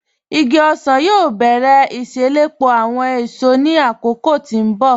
Igi ọsan yóò bẹ̀rẹ̀ iṣelọ́pọ̀ awọn èṣò ní akókò tí n bọ̀.